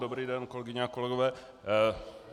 Dobrý den, kolegyně a kolegové.